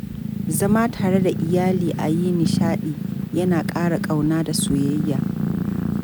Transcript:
Zama tare da iyali a yi nishadi, yana ƙara kauna da soyayya.